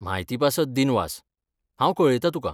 म्हायतीपासत दिनवास, हांव कळयतां तुका.